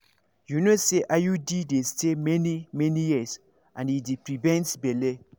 you know say iud dey stay many-many years and e dey prevent belle.